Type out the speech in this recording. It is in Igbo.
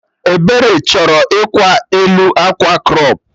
Ebere chọrọ ịkwa elu akwa crọp